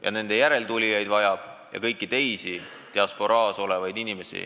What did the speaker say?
Ka nende järeltulijaid vajab ja kõiki teisi diasporaas olevaid inimesi.